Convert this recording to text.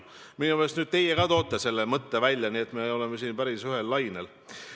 Minu meelest nüüd teie ka tõite selle mõtte välja, nii et me oleme siin päris ühel lainel.